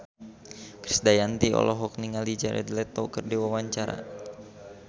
Krisdayanti olohok ningali Jared Leto keur diwawancara